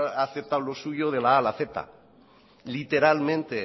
he aceptado lo suyo de la a a la z literalmente